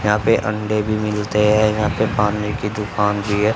यहां पे अंडे भी मिलते है यहां पे पानी की दुकान भी है।